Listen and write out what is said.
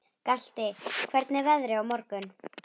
Galti, hvernig er veðrið á morgun?